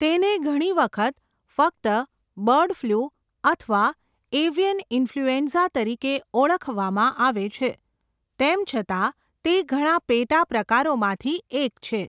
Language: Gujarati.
તેને ઘણી વખત ફક્ત 'બર્ડ ફ્લૂ' અથવા 'એવિયન ઈન્ફલ્યુએન્ઝા' તરીકે ઓળખવામાં આવે છે, તેમ છતાં તે ઘણા પેટા પ્રકારોમાંથી એક છે.